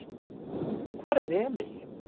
Hvar er Emil?